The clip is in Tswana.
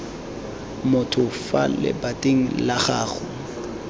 motho fa lebating la gago